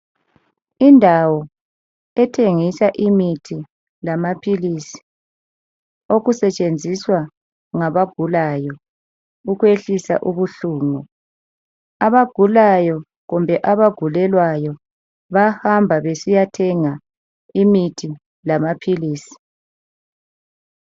Indawo ethengisa imithi lamaphilisi okusetshenziswa ngabagulayo ukwehlisa ubuhlungu abagulayo kumbe abagulelwayo bayahamba besiya thenga imithi lamaphilisi.